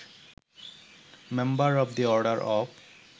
member of the order of